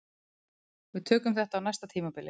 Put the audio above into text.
Við tökum þetta á næsta tímabili